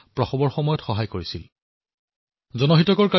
এই বছৰৰ আৰম্ভণিতে তেওঁক পদ্মশী বঁটাৰে সন্মালিত কৰা হৈছিল